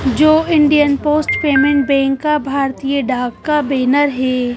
जो Indian post payment bank का भारतीय डाक का बैनर है।